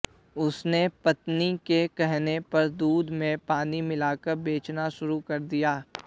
उसने पत्नी के कहने पर दूध में पानी मिलाकर बेचना शुरू कर दिया